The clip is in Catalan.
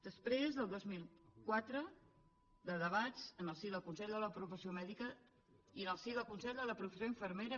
després del dos mil quatre de debats en el si del consell de la professió mèdica i en el si del consell de la professió infermera